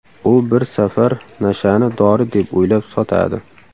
U bir safar nashani dori deb o‘ylab sotadi.